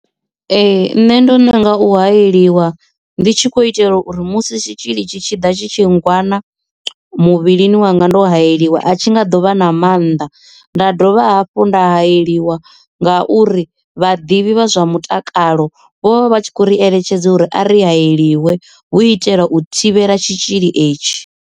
Ee nṋe ndo nanga u hayeliwa ndi tshi kho itelwa uri musi tshitzhili tshi tshi ḓa tshi tshi ngwana muvhilini wanga ndo hayeliwa a tshi nga dovha na mannḓa nda dovha hafhu nda hayeliwa ngauri vhaḓivhi vha zwa mutakalo vho vha tshi khou ri eletshedza uri a ri hayeliwe hu u itela u thivhela tshitzhili etshi.